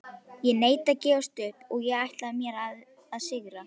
Ég neita að gefast upp og ætla mér að sigra.